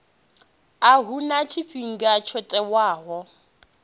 a huna tshifhinga tsho tiwaho